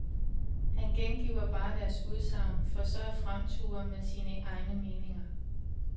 Han gengiver bare deres udsagn, for så at fremture med sine egne meninger.